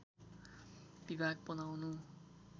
विभाग बनाउनु